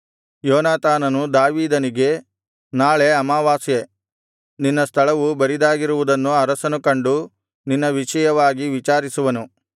ಯೋನಾತಾನನು ದಾವೀದನಿಗೆ ನಾಳೆ ಅಮಾವಾಸ್ಯೆ ನಿನ್ನ ಸ್ಥಳವು ಬರಿದಾಗಿರುವುದನ್ನು ಅರಸನು ಕಂಡು ನಿನ್ನ ವಿಷಯವಾಗಿ ವಿಚಾರಿಸುವನು